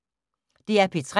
DR P3